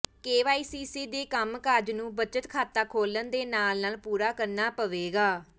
KYC ਦੇ ਕੰਮਕਾਜ ਨੂੰ ਬਚਤ ਖਾਤਾ ਖੋਲ੍ਹਣ ਦੇ ਨਾਲ ਨਾਲ ਪੂਰਾ ਕਰਨਾ ਪਵੇਗਾ